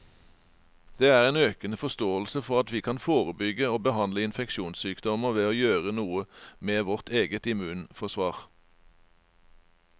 Det er en økende forståelse for at vi kan forebygge og behandle infeksjonssykdommer ved å gjøre noe med vårt eget immunforsvar.